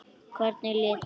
Hvernig læt ég.